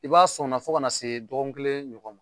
I b'a sɔn o na fo ka na se dɔgɔkun kelen ɲɔgɔn ma